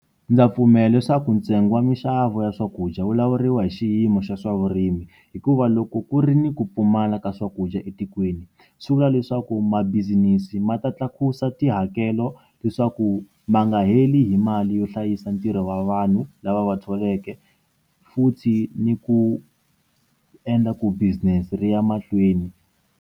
Ndza pfumela leswaku ntsengo wa minxavo ya swakudya wu lawuriwa hi xiyimo xa swavurimi hikuva loko ku ri ni ku pfumala ka swakudya etikweni swi vula leswaku mabisinesi ma ta tlakusa tihakelo leswaku ma nga heli hi mali yo hlayisa ntirho wa vanhu lava va tholete futhi ni ku endla ku business ri ya mahlweni.